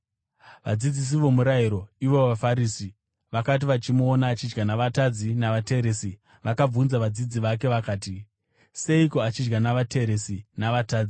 Vadzidzisi vomurayiro, ivo vaFarisi, vakati vachimuona achidya na“vatadzi” navateresi, vakabvunza vadzidzi vake vakati, “Seiko achidya navateresi na‘vatadzi’?”